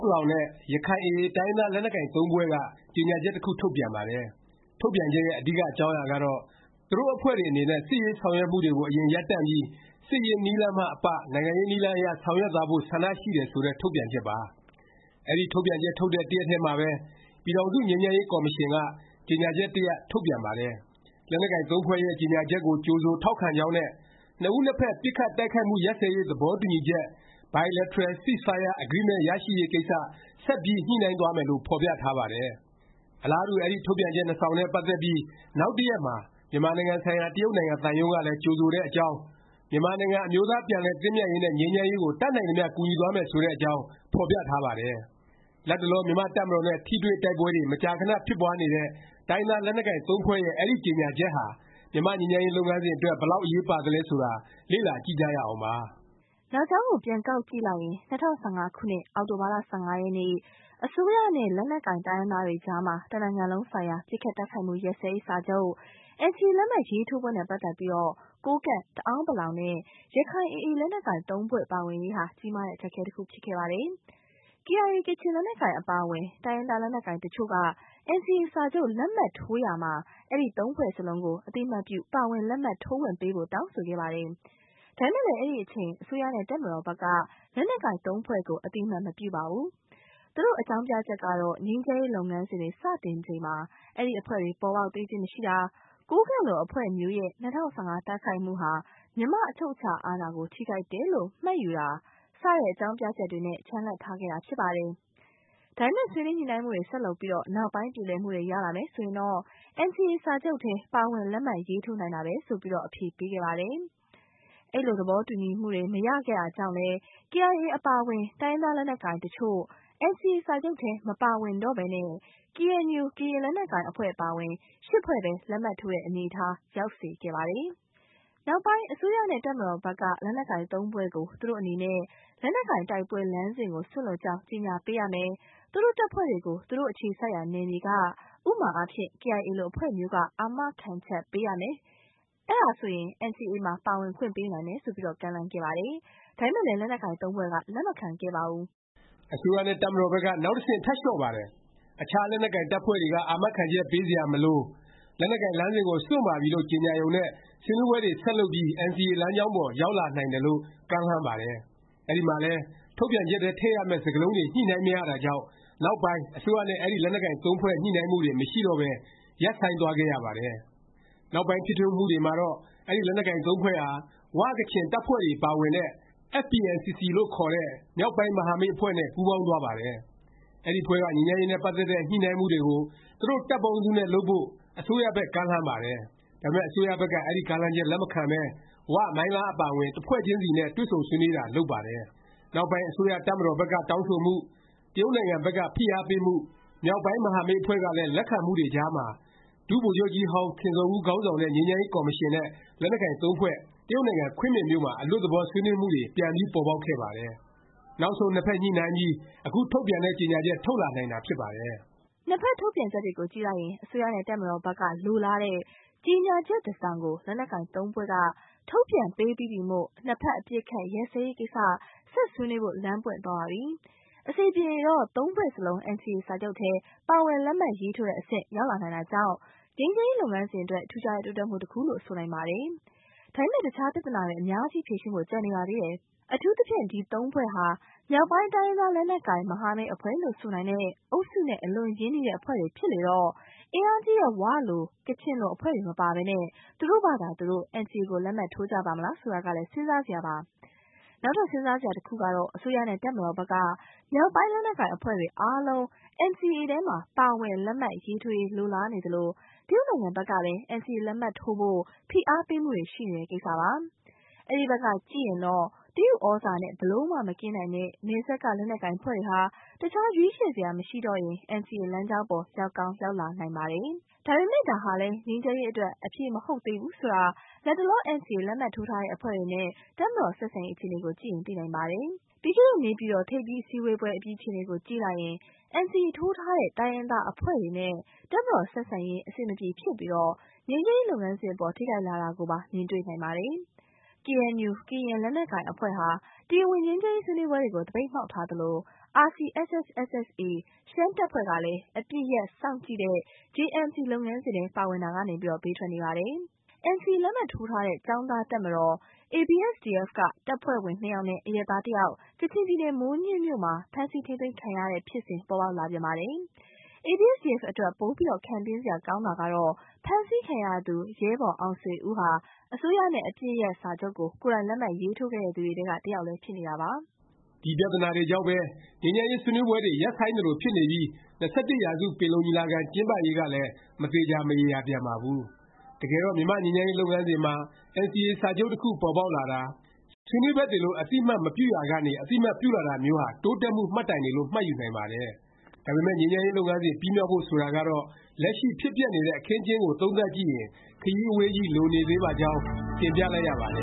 ပလောင်နဲ့ ရခိုင် AA တိုင်းရင်းသား လက်နက်ကိုင် ဖွဲ့က ကြေငြာချက် တစ်ခု ထုတ်ပြန်ပါတယ်။ ထုတ်ပြန်ချက်ရဲ့ အဓိက အကြောင်းအရာကတော့ သူတို့ အဖွဲ့တွေ အနေနဲ့ စစ်ရေးဆောင်ရွက်မှုတွေကို အရင် ရပ်တန့်ပြီး စစ်ရေး နည်းလမ်းမှ အပ နိုင်ငံရေးနည်းလမ်းအရ ဆောင်ရွက်သွားဖို့ ဆန္ဒရှိတယ် ဆိုတဲ့ ထုတ်ပြန်ချက်ပါ။ အဲဒီ ထုတ်ပြန်ချက် ထုတ်တဲ့ တစ်ရက်တည်းမှာပဲ ပြည်ထောင်စု ငြိမ်းချမ်းရေး ကော်မရှင်က ကြေငြာချက် တစ်ရပ် ထုတ်ပြန်ပါတယ်။ လက်နက်ကိုင် ၃ ဖွဲ့ရဲ့ ကြေငြာချက်ကို ကြိုဆို ထောက်ခံကြောင်းနဲ့ နှစ်ဦးနှစ်ဖက် ပစ်ခတ်တိုက်ခိုက်မှု ရပ်စဲရေး သဘောတူညီချက် Bilateral Ceasefire Agreement ရရှိရေးကိစ္စ ဆက်ပြီး ညှိနှိုင်းသွားမယ်လို့ ဖော်ပြထားပါတယ်။ အလားတူ အဲဒီ ထုတ်ပြန်ချက် နှစ်စောင်နဲ့ ပတ်သက်ပြီး နောက်တစ်ရက်မှာ မြန်မာနိုင်ငံဆိုင်ရာ တရုတ်နိုင်ငံ သံရုံးကလည်း ကြိုဆိုတဲ့အကြောင်း၊ မြန်မာနိုင်ငံ အမျိုးသားပြန်လည် သင့်မြတ်ရေးနဲ့ ငြိမ်းချမ်းရေးကို တတ်နိုင်သမျှ ကူညီသွားမယ် ဆိုတဲ့အကြောင်း ဖော်ပြထားပါတယ်။ လတ်တလော မြန်မာ့တပ်မတော်နဲ့ ထိတွေ့တိုက်ပွဲတွေ မကြာခဏ ဖြစ်ပွားနေတဲ့ တိုင်းရင်းသား လက်နက်ကိုင် ဖွဲ့ရဲ့ အဲဒီ ကြေငြာချက်ဟာ မြန်မာ့ငြိမ်းချမ်းရေး လုပ်ငန်းစဉ် အတွက် ဘယ်လောက် အရေးပါသလဲ ဆိုတာ လေ့လာကြည့်ကြရအောင်ပါ။ နောက်ကြောင်းကို ပြန်ကောက်ကြည့်လိုက်ရင် ၂၀၁၅ ခုနှစ် အောက်တိုဘာ ၁၅ ရက်နေ့ အစိုးရနဲ့ လက်နက်ကိုင် တိုင်းရင်းသားတွေအကြား တစ်နိုင်ငံလုံးဆိုင်ရာ ပစ်ခတ်တိုက်ခိုက်မှု ရပ်စဲရေး စာချုပ် NCA လက်မှတ်ရေးထိုးပွဲနဲ့ ပတ်သက်ပြီး ကိုးကန့်၊ တအာန်းပလောင်နဲ့ ရခိုင် AA လက်နက်ကိုင် ၃ ဖွဲ့ပါဝင်ရေးဟာ ကြီးမားတဲ့ အခက်အခဲ တစ်ခု ဖြစ်ခဲ့ပါတယ်။ KIA ကချင် လက်နက်ကိုင်အပါအဝင် တိုင်းရင်းသား လက်နက်ကိုင် တစ်ချို့က NCA စာချုပ် လက်မှတ်ထိုးရာမှာ အဲဒီ ဖွဲ့စလုံးကို အသိအမှတ်ပြု ပါဝင် လက်မှတ်ထိုးခွင့် ပေးဖို့ တောင်းဆိုခဲ့ပါတယ်။ ဒါပေမယ့် အဲဒီအချိန် အစိုးရနဲ့ တပ်မတော်ဘက်က လက်နက်ကိုင် ၃ ဖွဲ့ကို အသိအမှတ် မပြုပါဘူး။ သူတို့ အကြောင်းပြချက်ကတော့ ငြိမ်းချမ်းရေး လုပ်ငန်းစဉ်တွေ စတင်ချိန်မှာ အဲဒီ အဖွဲ့တွေ ပေါ်ပေါက်သေးခြင်း မရှိတာ၊ ကိုးကန့်လို အဖွဲ့မျိုးရဲ့ ၂၀၁၅ တိုက်ခိုက်မှုဟာ မြန်မာ့အချုပ်အခြာ အာဏာကို ထိပါးတယ်လို့ မှတ်ယူတာ၊ စတဲ့ အကြောင်းပြချက်တွေနဲ့ ချန်လှပ် ထားခဲ့တာ ဖြစ်ပါတယ်။ ဒါပေမယ့် ဆွေးနွေးညှိနှိုင်းမှုတွေ ဆက်လုပ်ပြီး နောက်ပိုင်း ပြေလည်မှုတွေ ရလာမယ် ဆိုရင် NCA စာချုပ်ထဲ ပါဝင်လက်မှတ်ရေးထိုးနိုင်တာပဲ ဆိုပြီး အဖြေပေးခဲ့ပါတယ်။ အဲလို သဘောတူညီမှုတွေ မရခဲ့တာကြောင့်လဲ KIA အပါအဝင် တိုင်းရင်းသား လက်နက်ကိုင်တစ်ချို့ NCA စာချုပ်ထဲ မပါဝင်တော့ပဲ KNU ကရင် လက်နက်ကိုင် အဖွဲ့အပါအဝင် ဖွဲ့ပဲ လက်မှတ်ထိုးတဲ့ အနေအထား ရောက်စေခဲ့ပါတယ်။ နောက်ပိုင်း အစိုးရနဲ့ တပ်မတော်ဘက်က လက်နက်ကိုင် ၃ ဖွဲ့ကို သူတို့ အနေနဲ့ လက်နက်ကိုင် တိုက်ပွဲ လမ်းစဉ်ကို စွန့်လွှတ်ကြောင်း ကြေငြာပေးရမယ်၊ သူတို့ တပ်ဖွဲ့တွေကို သူတို့ အခြေစိုက်ရာ နယ်မြေက ဥပမာအားဖြင့် KIA လို အဖွဲ့မျိုးက အာမခံချက်ပေးရမယ်၊ အဲဒါဆိုရင် NCA မှာ ပါဝင်ခွင့်ပေးနိုင်မယ်လို့ ကမ်းလှမ်းခဲ့ပါတယ်။ ဒါပေမယ့် လက်နက်ကိုင် ၃ ဖွဲ့က လက်မခံခဲ့ပါဘူး။ အစိုးရနဲ့ တပ်မတော်ဘက်က နောက်တစ်ဆင့် ထပ်လျော့ပါတယ်။ အခြား လက်နက်ကိုင် တပ်ဖွဲ့တွေက အာမခံချက် ပေးစရာ မလို၊ လက်နက်ကိုင် လမ်းစဉ်ကို စွန့်ပါပြီလို့ ကြေငြာရုံနဲ့ ဆွေးနွေးပွဲတွေ ဆက်လုပ်ပြီး NCA လမ်းကြောင်းပေါ် ရောက်လာနိုင်တယ်လို့ ကမ်းလှမ်းပါတယ်။ အဲဒီမှာလည်း ထုတ်ပြန်ချက်ထဲ ထည့်ရမယ့် စကားလုံးတွေ ညှိနှိုင်းမရတာကြောင့် နောက်ပိုင်း အစိုးရနဲ့ အဲဒီ လက်နက်ကိုင် သုံးဖွဲ့ ညှိနှိုင်းမှုတွေ မရှိတော့ပဲ ရပ်ဆိုင်းသွားခဲ့ရပါတယ်။ နောက်ပိုင်း ဖြစ်ထွန်းမှုတွေမှာတော့ အဲဒီ လက်နက်ကိုင် ၃ ဖွဲ့ဟာ ဝ၊ ကချင် တပ်ဖွဲ့တွေပါဝင်တဲ့ FPNCC လို့ခေါ်တဲ့ မြောက်ပိုင်းမဟာမိတ် အဖွဲ့နဲ့ ပူးပေါင်းသွားပါတယ်။ အဲဒီအဖွဲ့က ငြိမ်းချမ်းရေးနဲ့ ပတ်သက်တဲ့ ညှိနှိုင်းမှုတွေကို သူတို့ တပ်ပေါင်းစုနဲ့ လုပ်ဖို့ အစိုးရဘက် ကမ်းလှမ်းပါတယ်။ ဒါပေမယ့် အစိုးရဘက်က အဲဒီ ကမ်းလှမ်းချက် လက်မခံပဲ ဝ၊ မိုင်းလား အပါအဝင် တစ်ဖွဲ့ချင်းစီနဲ့ပဲ တွေ့ဆုံဆွေးနွေးတာ လုပ်ပါတယ်။ နောက်ပိုင်း အစိုးရ၊ တပ်မတော်ဘက်က တောင်းဆိုမှု၊ တရုတ်နိုင်ငံဘက်က ဖိအားပေးမှု၊ မြောက်ပိုင်း မဟာမိတ်အဖွဲ့ကလည်း လက်ခံမှုတွေကြားမှာ ဒုဗိုလ်ချုပ်ကြီးဟောင်းခင်ဇော်ဦး ခေါင်းဆောင်တဲ့ ငြိမ်းချမ်းရေး ကော်မရှင်နဲ့ လက်နက်ကိုင် သုံးဖွဲ့ တရုတ်နိုင်ငံ ခွင်းမင်မြို့မှာ အလွတ်သဘော ဆွေးနွေးမှုတွေ ပြန်ပြီး ပေါ်ပေါက်ခဲ့ပါတယ်။ နောက်ဆုံး နှစ်ဖက် ညှိနှိုင်းပြီး အခု ထုတ်ပြန်တဲ့ ကြေငြာချက် ထုတ်လာနိုင်တာ ဖြစ်ပါတယ်။ နှစ်ဖက် ထုတ်ပြန်ချက်တွေကြည့်လိုက်ရင် အစိုးရနဲ့ တပ်မတော်ဘက်က လိုလားတဲ့ ကြေငြာချက် တစ်စောင်ကို လက်နက်ကိုင် ၃ ဖွဲ့က ထုတ်ပြန်ပေးပြီးပြီမို့ နှစ်ဖက် အပစ်အခတ် ရပ်စဲရေးကိစ္စ ဆက်ဆွေးနွေးဖို့ လမ်းပွင့်သွားပါပြီ။ အဆင်ပြေရင် ၃ ဖွဲ့စလုံး NCA စာချုပ်ထဲ ပါဝင် လက်မှတ်ရေးထိုးတဲ့ အဆင့် ရောက်လာနိုင်တာမို့ ငြိမ်းချမ်းရေး လုပ်ငန်းစဉ်အတွက် ထူးခြားတဲ့ တိုးတက်မှု တစ်ခုလို့ ဆိုနိုင်ပါတယ်။ ဒါပေမယ့် အခြား ပြသနာတွေ အများကြီး ဖြေရှင်းဖို့ ကျန်နေပါသေးတယ်။ အထူးသဖြင့် ဒီ ၃ ဖွဲ့ဟာ မြောက်ပိုင်း တိုင်းရင်းသား လက်နက်ကိုင် မဟာမိတ် အဖွဲ့လို့ ဆိုနိုင်တဲ့ အုပ်စုနဲ့ အလွန်ရင်းနှီးတဲ့ အဖွဲ့တွေ ဖြစ်လေတော့ အင်အားကြီးတဲ့ ၀ လို ကချင်လို အဖွဲ့တွေ မပါပဲ သူတို့ဖာသာ သူတို့ NCA ကို လက်မှတ်ထိုးကြပါ့မလား ဆိုတာကလည်း စဉ်းစားစရာပါ။ နောက်ထပ် စဉ်းစားစရာတစ်ခုက အစိုးရနဲ့ တပ်မတော်ဘက်က မြောက်ပိုင်း လက်နက်ကိုင် အဖွဲ့တွေအားလုံး NCA ထဲ ပါဝင် လက်မှတ်ရေးထိုးရေး လိုလားနေသလို၊ တရုတ်နိုင်ငံဘက်ကလည်း NCA လက်မှတ်ထိုးဖို့ ဖိအားပေးမှုတွေ ရှိနေတဲ့ ကိစ္စပါ။ အဲဒီဘက်ကကြည့်ရင်တော့ တရုတ်သြဇာနဲ့ ဘယ်လိုမှ မကင်းနိုင်တဲ့ နယ်စပ်က လက်နက်ကိုင်အဖွဲ့တွေဟာ အခြား ရွေးချယ်စရာ မရှိတော့ရင် NCA လမ်းကြောင်းပေါ် ရောက်ကောင်း ရောက်လာနိုင်ပါတယ်။ ဒါပေမယ့် ဒါဟာလည်း ငြိမ်းချမ်းရေး အတွက် အဖြေမဟုတ်သေးဘူး ဆိုတာ လတ်တလော NCA လက်မှတ်ထိုးထားတဲ့ အဖွဲ့တွေနဲ့ တပ်မတော် ဆက်ဆံရေး အခြေအနေကို ကြည့်ရင် သိနိုင်ပါတယ်။ ပြီးခဲ့တဲ့ နေပြည်တော် ထိပ်သီးအစည်းအဝေးပွဲ အပြီး အခြေအနေကို ကြည့်လိုက်ရင် NCA ထိုးထားတဲ့ တိုင်းရင်းသား အဖွဲ့တွေနဲ့ တပ်မတော် ဆက်ဆံရေး အဆင်မပြေ ဖြစ်ပြီး ငြိမ်းချမ်းရေး လုပ်ငန်းစဉ်အပေါ် ထိခိုက်လာတာကိုပါ မြင်တွေ့နိုင်ပါတယ်။ KNU ကရင် လက်နက်ကိုင်အဖွဲ့ဟာ တရားဝင် ငြိမ်းချမ်းရေး ဆွေးနွေးပွဲတွေကို သပိတ်မှောက်ထားသလို၊ RCSS/SSA ရှမ်းတပ်ဖွဲ့ကလည်း အပစ်ရပ် စောင့်ကြည့်တဲ့ JMC လုပ်ငန်းစဉ်ထဲ ပါဝင်တာကနေ ဘေးထွက်နေပါတယ်။ မြွေပူရာ ကင်းမှောင့် ဆိုသလိုပဲ NCA လက်မှတ်ထိုးထားတဲ့ ကျောင်းသားတပ်မတော် ABSDF က တပ်ဖွဲ့ဝင် နှစ်ယောက်နဲ့ အရပ်သား တစ်ယောက် ကချင်ပြည်နယ် မိုးညှင်းမြို့မှာ ဖမ်းဆီး ထိမ်းသိမ်းခံရတဲ့ ဖြစ်စဉ် ပေါ်ပေါက်လာပြန်ပါတယ်။ ABSDF အတွက် ပိုပြီး ခံပြင်းစရာ ကောင်းတာက ဖမ်းဆီးခံရသူ ရဲဘော်အောင်ဆွေဦးဟာ အစိုးရနဲ့ အပစ်ရပ်စာချုပ်ကို ကိုယ်တိုင်လက်မှတ်ရေးထိုးခဲ့သူတွေထဲက တစ်ယောက် ဖြစ်နေတာပါ။ ဒီ ပြသနာတွေကြောင့်ပဲ ငြိမ်းချမ်းရေး ဆွေးနွေးပွဲတွေ ရပ်ဆိုင်းသလို ဖြစ်နေပြီး ၂၁ ရာစု ပင်လုံညီလာခံ ကျင်းပရေးကလည်း မသေခြာ မရေရာပြန်ပါဘူး။ တကယ်တော့ မြန်မာ့ငြိမ်းချမ်းရေး လုပ်ငန်းစဉ်မှာ NCA စာချုပ်တစ်ခု ပေါ်ပေါက်လာတာ၊ ဆွေးနွေးဖက်တွေလို့ အသိအမှတ်မပြုရာကနေ အသိအမှတ်ပြုလာတာမျိုးဟာ တိုးတက်မှု မှတ်တိုင်တွေလို့ မှတ်ယူနိုင်ပါတယ်။ ဒါပေမယ့် ငြိမ်းချမ်းရေး လုပ်ငန်းစဉ် ပြီးမြောက်ဖို့ ဆိုတာကတော့ လက်ရှိ ဖြစ်ပျက်နေတဲ့ အခင်းအကျင်းကို သုံးသပ် ကြည့်ရင် ခရီးအဝေးကြီး လိုနေသေးပါကြောင်း တင်ပြလိုက်ရပါတ